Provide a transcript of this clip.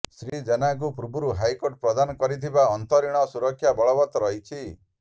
ଶ୍ରୀଜେନାଙ୍କୁ ପୂର୍ବରୁ ହାଇକୋର୍ଟ ପ୍ରଦାନ କରିଥିବା ଅନ୍ତରୀଣ ସୁରକ୍ଷା ବଳବତ୍ତ ରହିିଛି